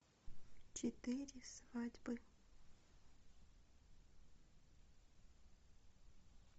четыре свадьбы